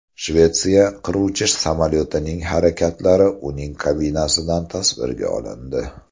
Shvetsiya qiruvchi samolyotining harakatlari uning kabinasidan tasvirga olindi .